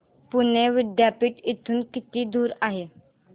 पुणे विद्यापीठ इथून किती दूर आहे